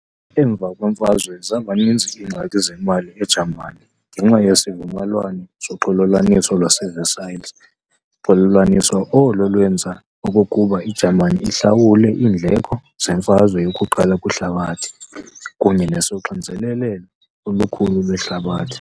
Emva kweMfazwe, zabaninzi iingxaki zemali eJamani ngenxa yesivumelwano soxolelwaniso lwase-Versailles, xolelwaniso olo olwenza okokuba iJamani ihlawule iindleko zeMfazwe yokuQala kwiHlabathi, kunye nesoxinzelelo olukhulu lweHlabathi.